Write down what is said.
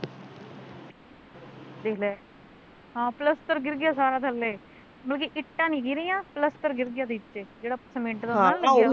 ਦੇਖਲੇ ਹਾਂ ਪਲੱਸਤਰ ਗਿਰ ਗਿਆ ਸਾਰਾ ਥੱਲੇ, ਮਤਲਬ ਕੀ ਇੱਟਾਂ ਨੀ ਗਿਰੀਆ ਪਲੱਸਤਰ ਗਿਰ ਗਿਆ ਨੀਚੇ ਜਿਹੜਾ ਸੀਮਿਟ ਦਾ ਹੁੰਦਾ ਨਾ ਲੱਗਿਆ ਵਾ